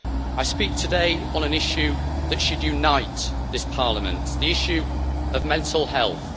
I speak today on an issue that should unite this Parliament the issue of mental health.